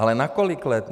Ale na kolik let?